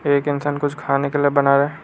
एक इंसान कुछ खाने के लिए बना रहा--